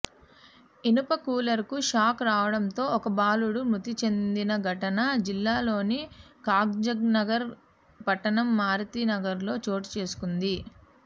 ఇనుప కూలర్కు షాక్ రావడంతో ఓ బాలుడు మృతి చెందిన ఘటన జిల్లాలోని కాగజ్నగర్ పట్టణం మారుతినగర్లో చోటుచేసుకుంది